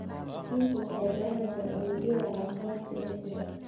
Waalidiintu waxay baranayaan adeegyada caafimaadka ee jira.